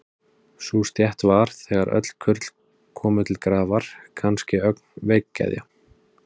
Sú stétt var, þegar öll kurl komu til grafar, kannske ögn veikgeðja.